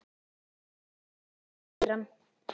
Þú stendur þig vel, Kíran!